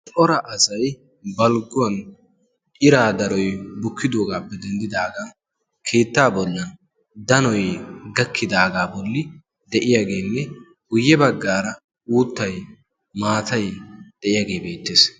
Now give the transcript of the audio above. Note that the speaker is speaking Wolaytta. Cora asay balgguwan iraa daroy bukkidoogaappe denddidaagaa keettaa bollan danoi gakkidaagaa bolli de'iyaageenne guyye baggaara uuttai maatai de'iyaagee beettees.